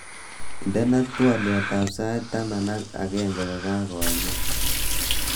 Indenee twoliotab sait taman ak ageng kokakoemen